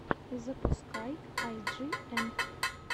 запускай ай джи эн